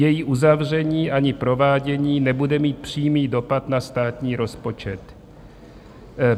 Její uzavření ani provádění nebude mít přímý dopad na státní rozpočet.